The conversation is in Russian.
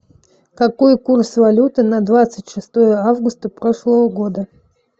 какой курс валюты на двадцать шестое августа прошлого года